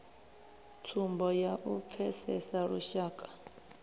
tsumbo ya u pfesesa lushaka